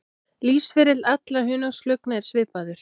Lífsferill allra hunangsflugna er svipaður.